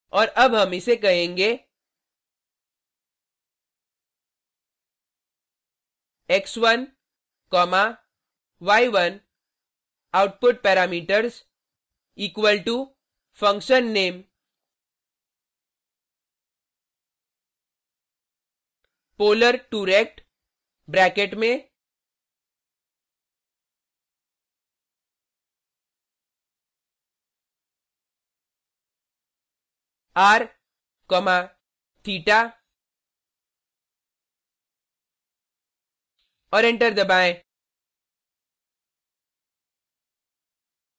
और अब हम इसे कहेंगे x1 comma y1 output parameters equal to function name polar2rect bracket में r comma theta और एंटर दबाएँ